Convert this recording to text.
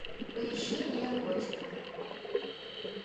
поищи неоготику